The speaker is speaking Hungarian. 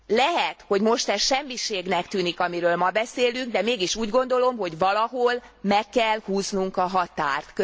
Lehet, hogy most ez semmiségnek tűnik, amiről ma beszélünk, de mégis úgy gondolom, hogy valahol meg kell húznunk a határt.